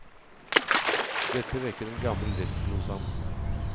Dette vekker en gammel redsel hos ham.